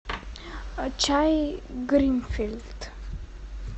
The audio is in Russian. чай гринфилд